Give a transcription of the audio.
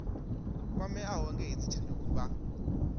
kwameaho nga hedzi tshanduko vha